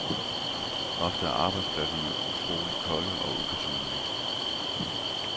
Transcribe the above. Ofte er arbejdspladserne utroligt kolde og upersonlige.